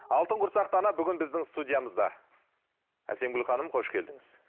алтын құрсақты ана бүгін біздің студиямызда әсемгүл ханым қош келдіңіз